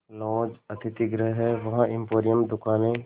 laws अतिथिगृह हैं वहाँ एम्पोरियम दुकानें